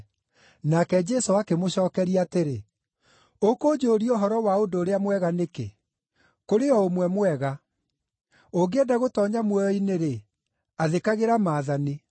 Nake Jesũ akĩmũcookeria atĩrĩ, “Ũkũnjũũria ũhoro wa ũndũ ũrĩa mwega nĩkĩ? Kũrĩ o Ũmwe mwega. Ũngĩenda gũtoonya muoyo-inĩ-rĩ, athĩkagĩra maathani.”